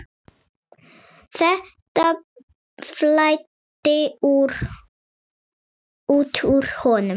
Þetta flæddi út úr honum.